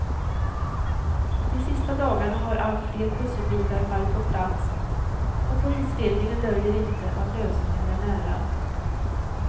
De sista dagarna har allt fler pusselbitar fallit på plats och polisledningen döljer inte att lösningen är nära.